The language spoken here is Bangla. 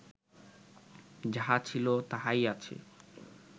যাহা ছিল, তাহাই আছে